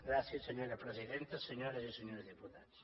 gràcies senyora presidenta senyores i senyors diputats